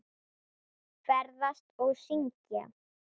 Ferðast og syngja.